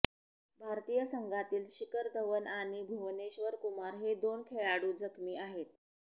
भारतीय संघातील शिखर धवन आणि भुवनेश्वर कुमार हे दोन खेळाडू जखमी आहेत